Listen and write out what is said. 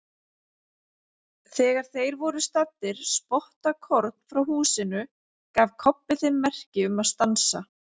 Þegar þeir voru staddir spottakorn frá húsinu gaf Kobbi þeim merki um að stansa.